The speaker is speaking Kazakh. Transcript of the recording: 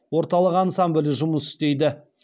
орталық ансамблі жұмыс істейді